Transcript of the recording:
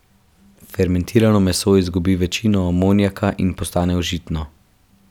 Fermentirano meso izgubi večino amonijaka in postane užitno.